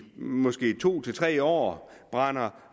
måske to til tre år og brænder